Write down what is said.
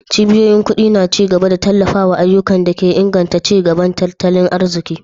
Cibiyoyin kudi na ci gaba da tallafawa ayyukan da ke inganta ci gaban tattalin arziki.